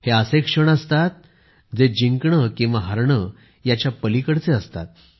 हे असे क्षण असतात ते जिंकणे किंवा हरणे याच्या पलिकडचे असतात